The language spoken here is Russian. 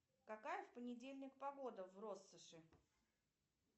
какая в понедельник погода в россоши